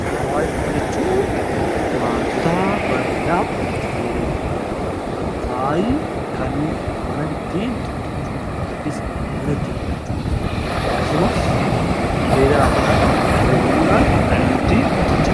Faaya jechuun wantoota bareedaaf itti fayyadamnu ta'uu danda'a. Faayi kan mana ittiin tottolchuudhaaf yookiin bareechuudhaaf akkasumas qophiilee garaagaraatti itti fayyadamuudhaan kan nuti tottolchinudha.